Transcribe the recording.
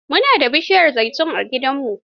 Mu na da bishiyar zaitun a gidanmu.